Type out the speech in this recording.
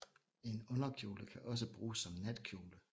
En underkjole kan også bruges som natkjole